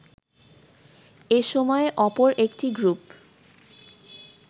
এসময়ে অপর একটি গ্রুপ